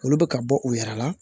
Olu bɛ ka bɔ u yɛrɛ la